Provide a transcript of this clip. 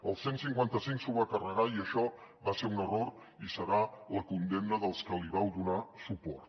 el cent i cinquanta cinc s’ho va carregar i això va ser un error i serà la condemna dels que li vau donar suport